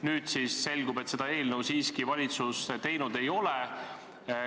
Nüüd selgub, et seda eelnõu valitsus siiski teinud ei ole.